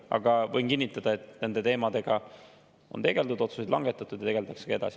Aga võin kinnitada, et nende teemadega on tegeldud, otsuseid langetatud ja tegeldakse ka edasi.